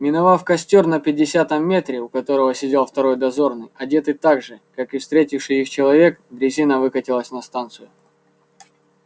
миновав костёр на пятидесятом метре у которого сидел второй дозорный одетый так же как и встретивший их человек дрезина выкатилась на станцию